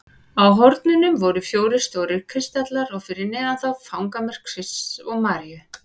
Á hornunum voru fjórir stórir kristallar og fyrir neðan þá fangamörk Krists og Maríu.